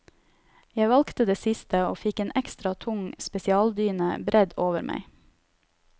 Jeg valgte det siste, og fikk en ekstra tung spesialdyne bredd over meg.